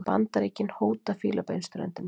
Bandaríkin hóta Fílabeinsströndinni